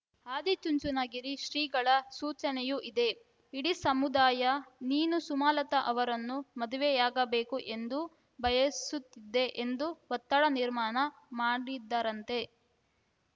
ಆದಿಚುಂಚನಗಿರಿ ಶ್ರೀಗಳ ಸೂಚನೆಯೂ ಇದೆ ಇಡೀ ಸಮುದಾಯ ನೀನು ಸುಮಲತಾ ಅವರನ್ನು ಮದುವೆಯಾಗಬೇಕು ಎಂದು ಬಯಸುತ್ತಿದೆ ಎಂದು ಒತ್ತಡ ನಿರ್ಮಾಣ ಮಾಡಿದ್ದರಂತೆ